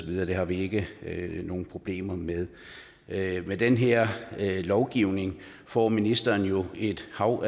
det har vi ikke nogen problemer med med med den her lovgivning får ministeren jo et hav